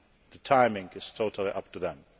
The timing is totally up to them.